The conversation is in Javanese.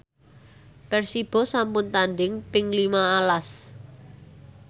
Persibo sampun tandhing ping lima las